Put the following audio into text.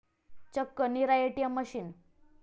चक्क 'Neera ATM' machine!